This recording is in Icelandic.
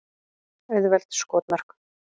Auðveld skotmörk.